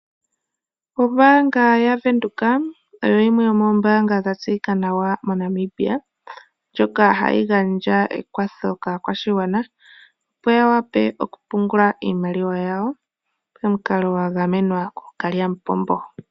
Ombaanga yaVenduka oyo yimwe yomoombaanga dha tseyika nawa moNamibia , ndjoka hayi gandja ekwatho kaa kwashigwana, opo ya wape okupungula iimaliwa yawo nomukalo wa gamwenwa nawa koo kalyamupombo.